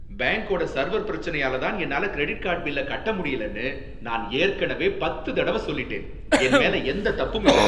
பேங்க்கோட server பிரச்சனையால தான் என்னால கிரெடிட் கார்டு பில்ல கட்ட முடியலனு நான் ஏற்கனவே பத்து தடவ சொல்லிட்டேன். என் மேல எந்த தப்பும் இல்ல.